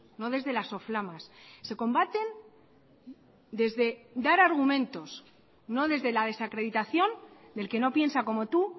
no desde las soflamas se combaten desde dar argumentos no desde la desacreditación del que no piensa como tú